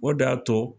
O de y'a to